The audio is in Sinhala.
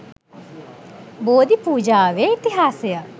බෝධි පූජාවේ ඉතිහාසය